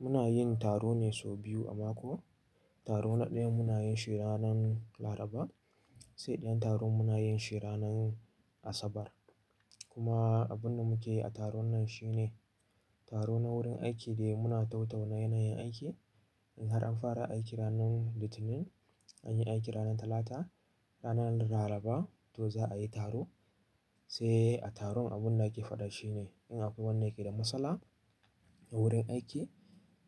Muna yin taro ne sau biyu a mako. Taro na ɗaya muna yin shi ranar Laraba, sai ɗayan taron muna yin shi ranar Asabar. Kuma abun da muke a taron nan shine taro na wurin aiki da muna tau-tauna yanayin aiki. In har an fara aiki ranar Litinin, an yi aiki ranar Talata, ranar Laraba to za a yi taro. Sai a taron abun da ake faɗa shi ne in akwai wanda yake da matsala a wurin aiki,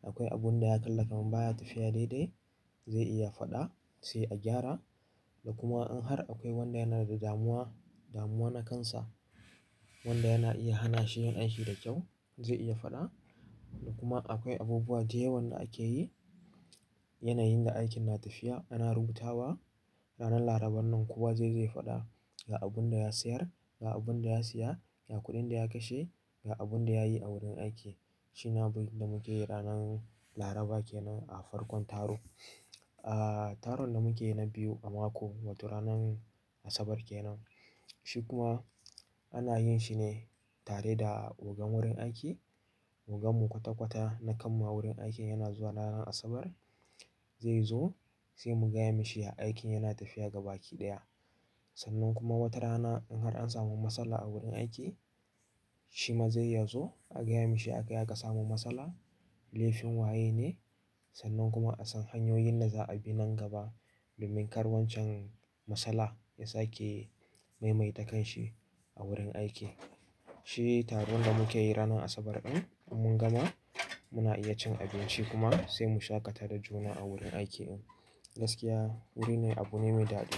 akwai abun da ya kalla kaman baya tafiya daidai zai iya faɗa sai a gyara. Da kuma in har akwai wanda yana da damuwa, damuwa na kansa wanda yana iya hana shi yin aiki da kyau zai iya faɗa. Da kuma akwai abubuwa da yawan da ake yi yanayin da aikin na tafiya ana rubutawa. Ranar Larabar nan kuwa zai zai faɗa ga abun da ya sayar, ga abun da ya siya, ga kuɗin da ya kashe, ga abun da ya yi a wurin aiki. Shi na abin da muke yi ranar Laraba kenan a farkon taro. Aaa taron da muke yi na biyu a mako wato ranar Asabar kenan. Shi kuma ana yin shi ne tare da ogan wurin aiki. Ogan mu kwata-kwata na kanmu a wurin aiki yana zuwa ranar Asabar zai zo sai mu gaya mashi aikin yana tafiya ga baki ɗaya. Sannan kuma wata rana in har an samu matsala a wurin aiki shi ma zai ya zo aka gaya mashi aka yaƙa samu matsala, laifin waye ne sannan kuma a san hanyoyin da za a bi nan gaba domin kar wancan matsala ya sake maimaita kanshi a wurin aiki. Shi taron da muke yi ranar Asabar ɗin. In mun gama muna iya cin abinci kuma sai mu shaƙata da juna a wurin aiki ɗin. Gaskiya wuri ne abu ne mai daɗi.